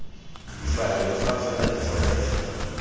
difaele fa fela di tlhokega